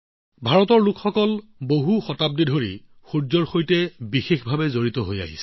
ভাৰতৰ জনসাধাৰণৰ বহু শতাব্দী ধৰি সূৰ্যৰ সৈতে এক বিশেষ সম্পৰ্ক আছে